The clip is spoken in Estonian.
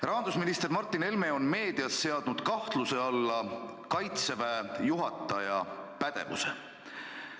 Rahandusminister Martin Helme on meedias seadnud kahtluse alla Kaitseväe juhataja pädevuse.